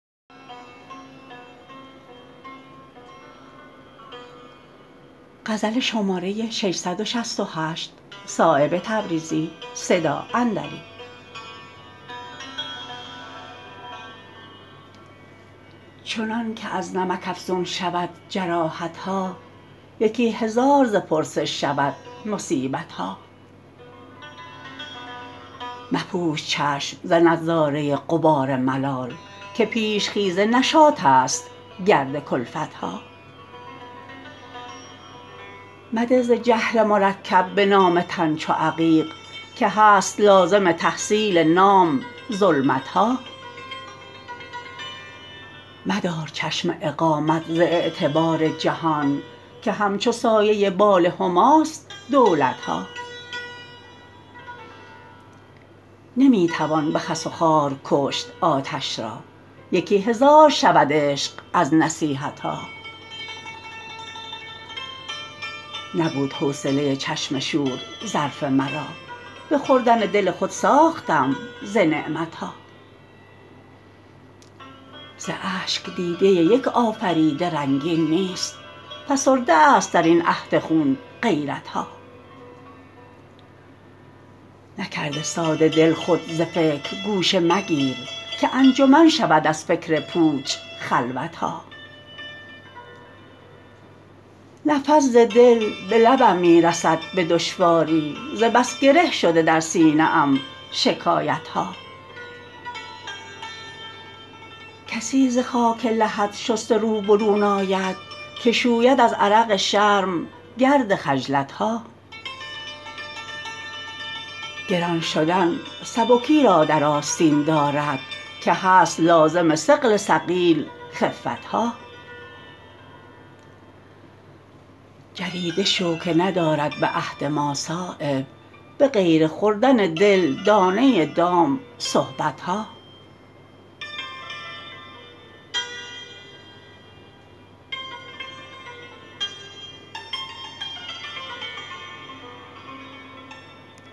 چنان که از نمک افزون شود جراحت ها یکی هزار ز پرسش شود مصیبت ها مپوش چشم ز نظاره غبار ملال که پیش خیز نشاط است گرد کلفت ها مده ز جهل مرکب به نام تن چو عقیق که هست لازم تحصیل نام ظلمت ها مدار چشم اقامت ز اعتبار جهان که همچو سایه بال هماست دولت ها نمی توان به خس و خار کشت آتش را یکی هزار شود عشق از نصیحت ها نبود حوصله چشم شور ظرف مرا به خوردن دل خود ساختم ز نعمت ها ز اشک دیده یک آفریده رنگین نیست فسرده است درین عهد خون غیرت ها نکرده ساده دل خود ز فکر گوشه مگیر که انجمن شود از فکر پوچ خلوت ها نفس ز دل به لبم می رسد به دشواری ز بس گره شده در سینه ام شکایت ها کسی ز خاک لحد شسته رو برون آید که شوید از عرق شرم گرد خجلت ها گران شدن سبکی را در آستین دارد که هست لازم ثقل ثقیل خفت ها جریده شو که ندارد به عهد ما صایب به غیر خوردن دل دانه دام صحبت ها